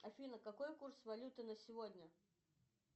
афина какой курс валюты на сегодня